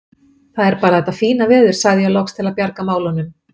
Það er bara þetta fína veður sagði ég loks til að bjarga málunum.